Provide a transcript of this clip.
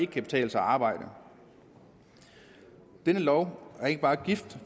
kan betale sig arbejde denne lov er ikke bare gift